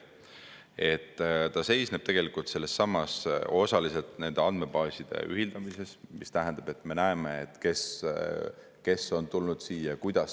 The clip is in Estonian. See seisneb tegelikult osaliselt nende andmebaaside ühildamises, mis tähendab, et me näeme, kes on tulnud siia ja kuidas.